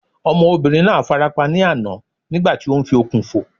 Ọmọbìnrin náà fara pa ní àná nígbà tí ó ń fi okùn fò